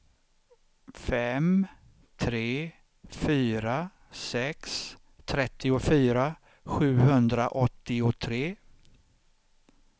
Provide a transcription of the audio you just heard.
fem tre fyra sex trettiofyra sjuhundraåttiotre